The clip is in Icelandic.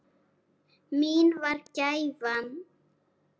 Mín var gæfan.